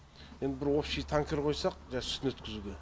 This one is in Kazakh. енді бір общий танкер қойсақ жаңағы сүтін өткізуге